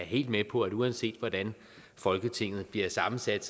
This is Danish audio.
helt med på at uanset hvordan folketinget bliver sammensat